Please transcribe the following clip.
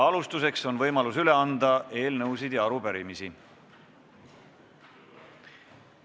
Alustuseks on võimalus üle anda eelnõusid ja arupärimisi.